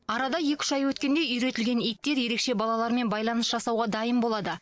арада екі үш ай өткенде үйретілген иттер ерекше балалармен байланыс жасауға дайын болады